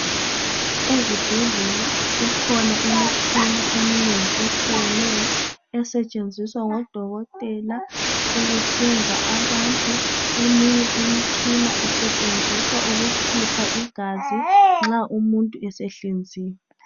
Ezibhedlela kukhona imitshina eminengi etshiyeneyo esetshenziswa ngodokotela ukuhlinza abantu. Eminye imitshina isetshenziswa ukukhipha igazi nxa umuntu esehlinziwe.